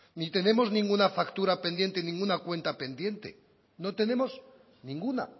ni tenemos ninguna factura pendiente ninguna cuenta pendiente no tenemos ninguna